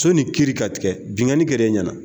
Sɔ ni kiri ka tigɛ, bingani kɛre ɲɛna.